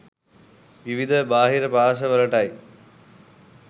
විවිධ බාහිර පාර්ශ්ව වලටයි.